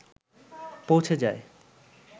পৌঁছে যায়